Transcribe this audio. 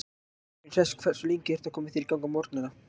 Bekkurinn í Hress Hversu lengi ertu að koma þér í gang á morgnanna?